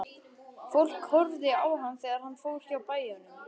Fólk horfði á hann þegar hann fór hjá bæjum.